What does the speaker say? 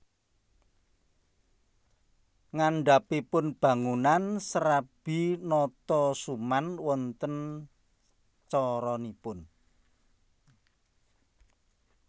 Ngandhapipun bangunan Serabi Notosuman wonten coronipun